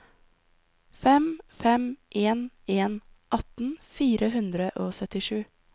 fem fem en en atten fire hundre og syttisju